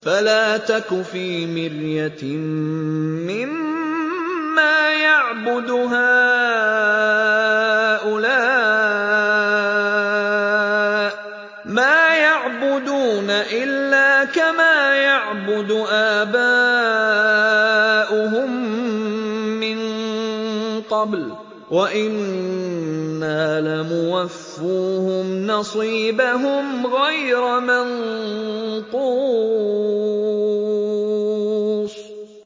فَلَا تَكُ فِي مِرْيَةٍ مِّمَّا يَعْبُدُ هَٰؤُلَاءِ ۚ مَا يَعْبُدُونَ إِلَّا كَمَا يَعْبُدُ آبَاؤُهُم مِّن قَبْلُ ۚ وَإِنَّا لَمُوَفُّوهُمْ نَصِيبَهُمْ غَيْرَ مَنقُوصٍ